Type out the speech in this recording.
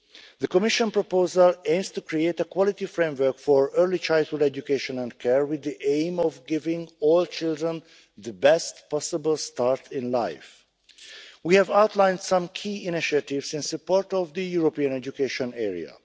The Commission proposal aims to create a quality framework for early childhood education and care with the aim of giving all children the best possible start in life. We have outlined some key initiatives in support of the European education area.